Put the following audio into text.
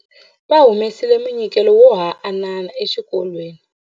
Va humesile munyikelo wo haanana exikolweni.